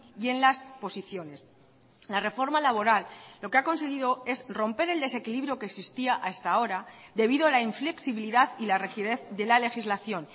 y en las posiciones la reforma laboral lo que ha conseguido es romper el desequilibrio que existía hasta ahora debido a la inflexibilidad y la rigidez de la legislación